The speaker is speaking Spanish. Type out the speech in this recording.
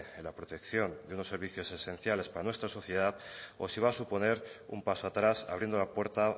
en la protección de unos servicios esenciales para nuestra sociedad o si va a suponer un paso atrás abriendo la puerta